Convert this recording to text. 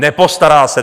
Nepostará se!